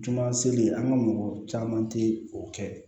Tunga seli an ka mɔgɔ caman tɛ o kɛ